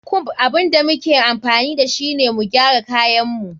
Comb abun da muke amfani dashu ne mu gyara kayin mu.